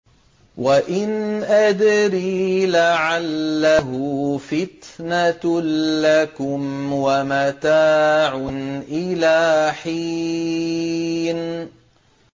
وَإِنْ أَدْرِي لَعَلَّهُ فِتْنَةٌ لَّكُمْ وَمَتَاعٌ إِلَىٰ حِينٍ